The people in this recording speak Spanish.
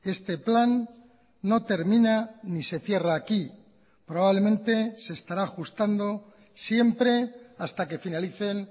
este plan no termina ni se cierra aquí probablemente se estará ajustando siempre hasta que finalicen